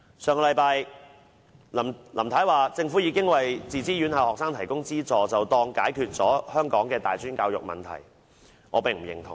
上星期，林太表示政府已經為自資院校學生提供資助，便當解決了香港的大專教育問題，我並不認同。